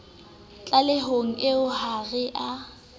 tlalehong eo ha re a